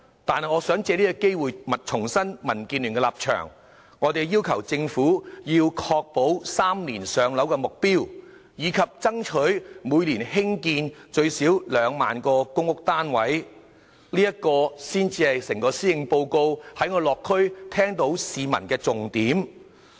但是，我想藉此機會重申民建聯的立場：我們要求政府確保 "3 年上樓"的目標，以及爭取每年興建最少2萬個公屋單位，這才是就整個施政報告而言，在我落區時聽到市民對房屋所表達的重點訴求。